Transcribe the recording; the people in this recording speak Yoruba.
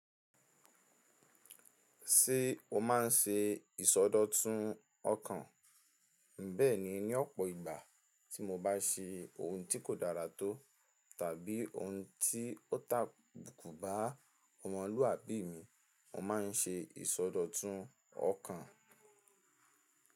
Ṣé o má n ṣe ìsọdọ̀tun ọkàn? Bẹ́ẹ̀ni, ní ọ̀pọ̀ ìgbà tí mo bá ṣe ohun tí kò dára tó tàbí ohun tí ó tabùkù bá ọmọlúàbí mi, mo má n ṣe ìsọdọ̀tun ọkàn.